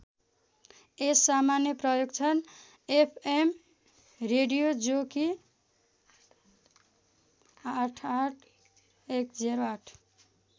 यस सामान्य प्रयोग छन् एफ एम रेडियो जो कि ८८१०८